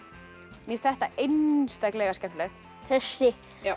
mér finnst þetta einstaklega skemmtilegt þessi